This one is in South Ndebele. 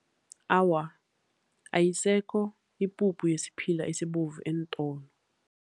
Awa, ayisekho ipuphu yesiphila esibovu eentolo.